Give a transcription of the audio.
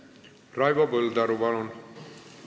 Raivo Põldaru, palun!